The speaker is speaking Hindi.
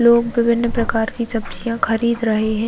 लोग विभिन्न प्रकार की सब्जियाँ खरीद रहे हैं।